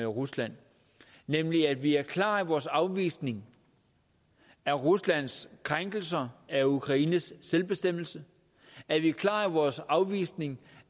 rusland nemlig at vi er klare i vores afvisning af ruslands krænkelser af ukraines selvbestemmelse at vi er klare i vores afvisning